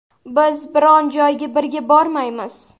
Biz biron joyga birga bormaymiz.